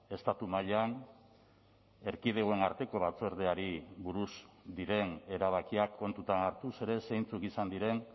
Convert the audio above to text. estatu mailan erkidegoen arteko batzordeari buruz diren erabakiak kontutan hartuz ere zeintzuk izan diren